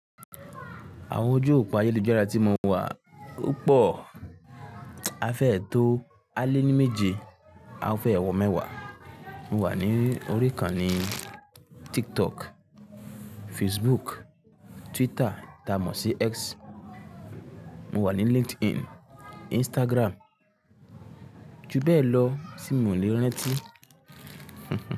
Àwọn ojú òpó ayélujára tí mo wà o pọ̀, a fẹ́ ẹ tó àlé ní méje, a fẹ́ ẹ wọ mẹ́wàá. Mo wà ní orí ìkànnì TikTok, Facebook, Twitter tamọ̀ sí X, mo wà ní LinkedIn, Instagram, ju bẹ́ẹ̀ lọ tí miò le rantí.